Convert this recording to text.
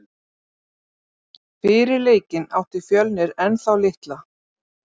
Fyrir leikinn átti Fjölnir ennþá litla.